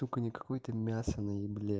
только не какой-то мясо не ел